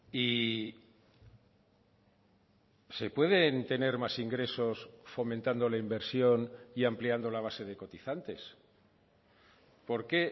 y se pueden tener más ingresos fomentando la inversión y ampliando la base de cotizantes por qué